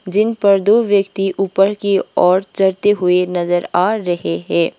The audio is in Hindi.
जिन पर दो व्यक्ति ऊपर की ओर चलते हुए नजर आ रहे है।